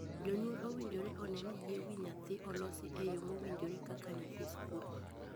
Jonyuol owinjore onee ni yie wii nyithindo olosi e yoo mowinjore kaka nyithii skul.